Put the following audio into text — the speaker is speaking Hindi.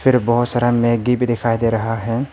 इधर बहुत सारा मैगी भी दिखाई दे रहा है।